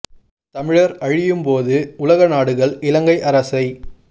தமிழர் அழியும் போது உலகநாடுகள் இலங்கை அரசை